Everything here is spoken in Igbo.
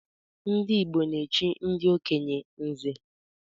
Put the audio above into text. Ndị Igbo na-echi ndị okenye nze